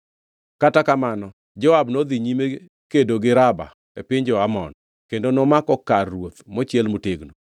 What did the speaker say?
Kata kamano Joab nodhi nyime kedo gi Raba e piny jo-Amon kendo nomako kar ruoth mochiel motegno.